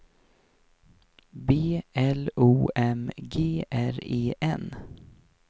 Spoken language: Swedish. B L O M G R E N